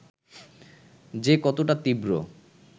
যে কতটা তীব্র